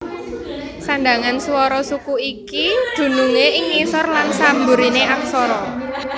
Sandhangan swara suku iki dunungé ing ngisor lan samburiné aksara